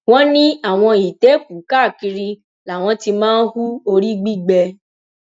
wọn ní àwọn ìtẹkùú káàkiri làwọn ti máa ń hu orí gbígbé